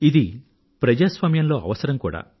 ఇది ప్రజాస్వామ్యంలో అవసరం కూడా